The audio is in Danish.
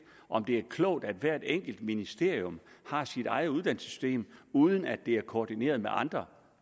om det er klogt at hvert enkelt ministerium har sit eget uddannelsessystem uden at det er koordineret med andre